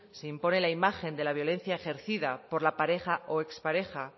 se impone la imagen de la violencia ejercida por la pareja o ex pareja